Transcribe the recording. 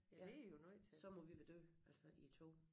Ja så må vi være døde altså i æ tog